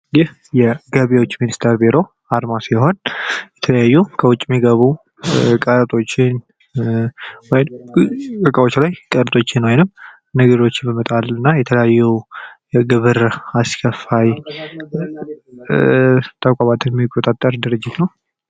ይህ የገቢዎች ሚኒስቴር ቢሮ አርማ ሲሆን የተለያዩ ከውጭ ሚገቡ ቀረጦችን ወይንም እቃዎች ላይ ቀረጦችኝ ወይንም ነገሮችን በመጣል እና የተለያዩ የግብር አስከፋይ ተቋማትን ሚቆጣጠር ድርጅት ነው ።